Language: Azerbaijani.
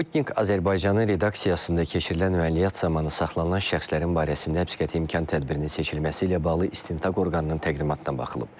Sputnik Azərbaycanın redaksiyasında keçirilən əməliyyat zamanı saxlanılan şəxslərin barəsində həbsqəti imkan tədbirinin seçilməsi ilə bağlı istintaq orqanının təqdimatına baxılıb.